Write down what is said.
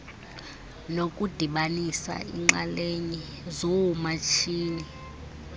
nokudibanisa iinxalenye zoomatshini